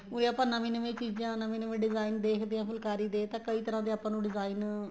ਉਹੀ ਆਪਾਂ ਨਵੀਂਆਂ ਨਵੀਆਂ ਚੀਜ਼ਾਂ ਨਵੇਂ ਨਵੇਂ design ਦੇਖਦਿਆ ਏ ਫੁਲਕਾਰੀ ਦੇ ਤਾਂ ਕਈ ਤਰ੍ਹਾਂ ਦੇ ਆਪਾਂ ਨੂੰ design